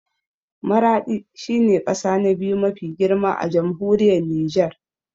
Maraɗi shi ne ƙasa na biyu mafi girma a Jamhuriyar Nijar